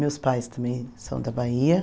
Meus pais também são da Bahia.